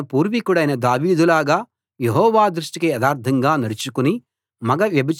ఆసా తన పూర్వీకుడైన దావీదులాగా యెహోవా దృష్టికి యథార్ధంగా నడుచుకుని